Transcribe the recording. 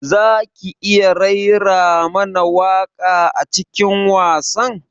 Zaki iya raira mana waƙa a cikin wasan?